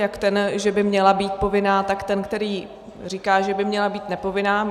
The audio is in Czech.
Jak ten, že by měla být povinná, tak ten, který říká, že by měla být nepovinná.